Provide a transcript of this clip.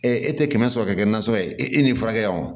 e tɛ kɛmɛ sɔrɔ ka kɛ nansɔngɔ ye e ni furakɛ o